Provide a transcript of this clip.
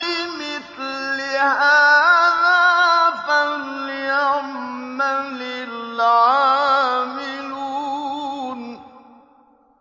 لِمِثْلِ هَٰذَا فَلْيَعْمَلِ الْعَامِلُونَ